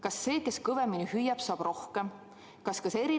Kas see, kes kõvemini hüüab, saab rohkem?